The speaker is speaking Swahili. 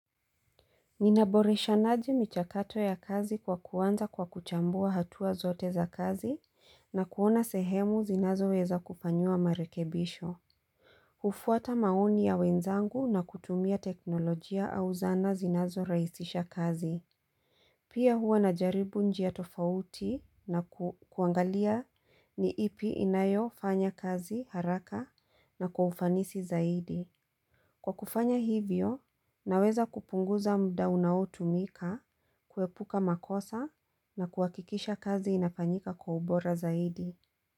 Ninaboresha naji michakato ya kazi kwa kuanza kwa kuchambua hatua zote za kazi na kuona sehemu zinazoweza kufanyiwa marekebisho hufuata maoni ya wenzangu na kutumia teknolojia au zana zinazo rahisisha kazi Pia huwa najaribu njia tofauti na kuangalia ni ipi inayofanya kazi haraka na kwa ufanisi zaidi Kwa kufanya hivyo, naweza kupunguza mda unaotumika, kuepuka makosa na kuhakikisha kazi inafanyika kwa ubora zaidi.